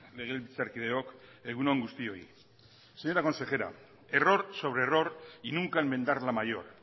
legebiltzarkideok egun on guztioi señora consejera error sobre error y nunca enmendar la mayor